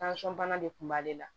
bana de kun b'ale la